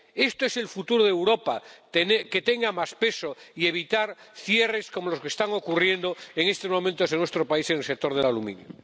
Esto es el futuro de Europa que tenga más peso, y evitar cierres como los que están ocurriendo en estos momentos en nuestro país en el sector del aluminio.